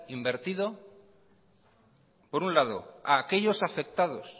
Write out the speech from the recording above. invertido por un lado a aquellos afectados